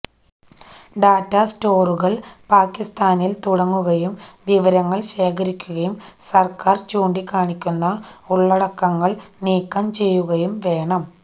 data സെര്വറുകള് പാകിസ്താനില് തുടങ്ങുകയും വിവരങ്ങള് ശേഖരിക്കുകയും സര്ക്കാര് ചൂണ്ടിക്കാണിക്കുന്ന ഉള്ളടക്കങ്ങള് നീക്കം ചെയ്യുകയും വേണം